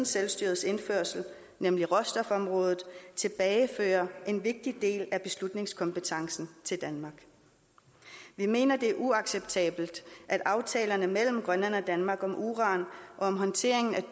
selvstyret nemlig råstofområdet tilbagefører en vigtig del af beslutningskompetencen til danmark vi mener det er uacceptabelt at aftalerne mellem grønland og danmark om uran og håndtering af